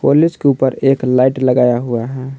College के ऊपर एक लाइट लगाया हुआ है।